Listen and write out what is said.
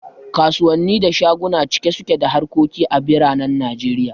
Kasuwanni da shaguna cike suke da harkoki a biranen Najeriya